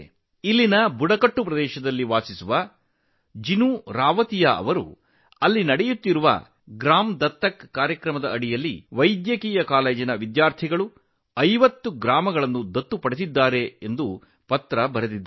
ಇಲ್ಲಿನ ಬುಡಕಟ್ಟು ಪ್ರದೇಶದಲ್ಲಿ ವಾಸಿಸುತ್ತಿರುವ ಜಿನು ರಾವತಿಯಾ ಅವರು ಗ್ರಾಮ ದತ್ತು ಕಾರ್ಯಕ್ರಮದ ಅಡಿಯಲ್ಲಿ ವೈದ್ಯಕೀಯ ಕಾಲೇಜಿನ ವಿದ್ಯಾರ್ಥಿಗಳು 50 ಹಳ್ಳಿಗಳನ್ನು ದತ್ತು ತೆಗೆದುಕೊಂಡಿದ್ದಾರೆ ಎಂದು ಬರೆದಿದ್ದಾರೆ